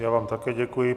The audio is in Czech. Já vám také děkuji.